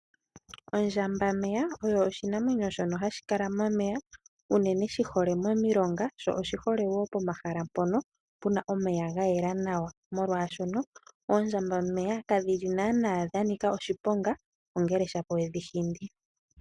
Ondjambameya oyo oshinamwenyo shono hashi kala momeya unene shi hole momilonga sho oshihole wo pomahala mpono pu na omeya ga yela nawa, molwashono oondjambameya kadhi li naana dhanika oshiponga, ongele shapo we dhi hindi.